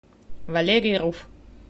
валерий руф